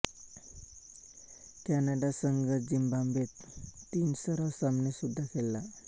Canada संघ झिम्बाब्वेत तीन सराव सामने सुद्धा खेळला